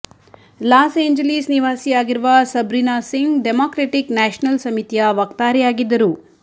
loss Angeles ನಿವಾಸಿಯಾಗಿರುವ Sabrina Singh Democratic National ಸಮಿತಿಯ ವಕ್ತಾರೆಯಾಗಿದ್ದರು